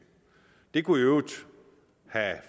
de kunne jo i øvrigt